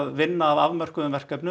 vinna að afmörkuðum verkefnum